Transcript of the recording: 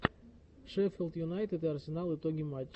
шеффилд юнайтед и арсенал итоги матча